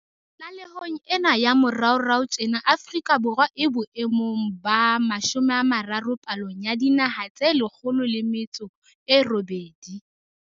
Tlalehong ena ya moraorao tjena Afrika Borwa e bo emong ba 30 palong ya dinaha tse 108.